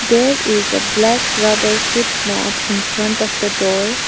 There is a black rubber foot mat infront of the door .